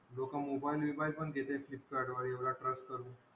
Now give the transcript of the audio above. लोकं mobile बीबाईल पण घेते फ्लिपकार्टवर एवढा trust करून.